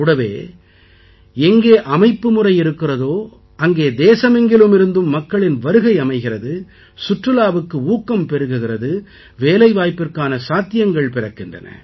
கூடவே எங்கே அமைப்புமுறை இருக்கிறதோ அங்கே தேசமெங்கிலும் இருந்தும் மக்களின் வருகை அமைகிறது சுற்றுலாவுக்கு ஊக்கம் பெருகுகிறது வேலைவாய்ப்பிற்கான சாத்தியங்கள் பிறக்கின்றன